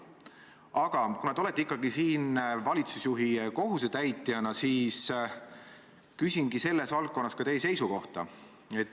Aga kuna te olete ikkagi siin valitsusjuhi kohusetäitjana, siis küsingi teie seisukohta selles valdkonnas.